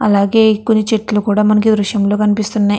అలాగే కొని చెట్లు కూడా మనకు ఈ దృశ్యం లో కనిపిస్తున్నాయి.